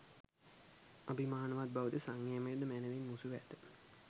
අභිමානවත් බවද සංයමයද මැනවින් මුසුව ඇත.